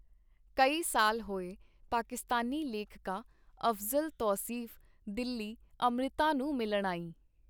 ਕਈ ਸਾਲ ਹੋਏ ਪਾਕਿਸਤਾਨੀ ਲੇਖਕਾ ਅਫ਼ਜ਼ਲ ਤੌਸੀਫ਼ ਦਿੱਲੀ ਅੰਮ੍ਰਿਤਾ ਨੂੰ ਮਿਲਣ ਆਈ.